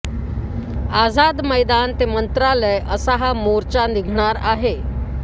आझाद मैदान ते मंत्रालय असा हा मोर्चा निघणार आहे